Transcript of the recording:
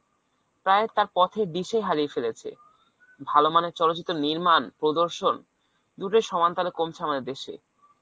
প্রায় তার পথের দিশায় হারিয়ে ফেলেছে। ভাল মানের চলচিত্রের নির্মাণ প্রদর্শন দুটোই সমান তালে কমছে আমাদের দেশে